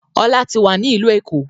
Ọlá tí wá ní ìlú Èkó.